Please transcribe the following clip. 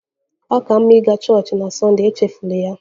Ọ ka mma ịga chọọchị na Sunday! Echefula ya.